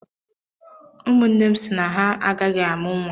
Umu nnem si na ha agaghị amụ nwa.